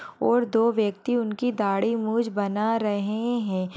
और दो व्यक्ति उनकी दाढ़ी मूंछ बना रहे हैं।